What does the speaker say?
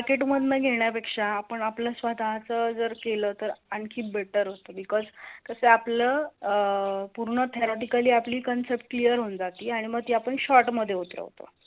मार्केटमध्ये घेण्यापेक्षा आपण आपलं स्वतःचं जर केलं तर आणखी बेटटर असते ते बीकस कशे आपली अह पूर्ण theoretically आपल concept clear होऊन जाती आणी मघ ती आपण शॉर्ट मध्ये उतरवतो